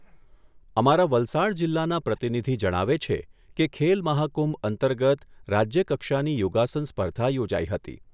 અમારા વલસાડ જિલ્લાના પ્રતિનિધિ જણાવે છે કે ખેલમહાકુંભ અંતર્ગત રાજ્યકક્ષાની યોગાસન સ્પર્ધા યોજાઈ હતી.